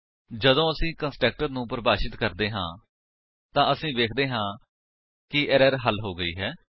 ਜਦੋਂ ਅਸੀ ਕੰਸਟਰਕਟਰ ਨੂੰ ਪਰਿਭਾਸ਼ਿਤ ਕਰਦੇ ਹਾਂ ਤਾਂ ਅਸੀ ਵੇਖਦੇ ਹਾਂ ਕਿ ਐਰਰ ਹੱਲ ਹੋ ਗਈ ਹੈ